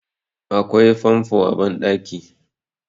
akwai famfo a bandaki